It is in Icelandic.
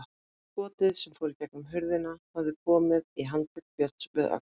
Skotið sem fór í gegnum hurðina hafði komið í handlegg Björns við öxl.